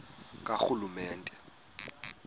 karhulumente